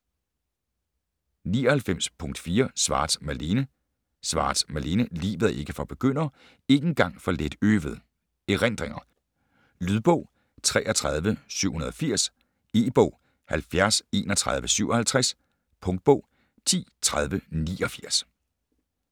99.4 Schwartz, Malene Schwartz, Malene: Livet er ikke for begyndere: ikke engang for let øvede: erindringer Lydbog 33780 E-bog 703157 Punktbog 103089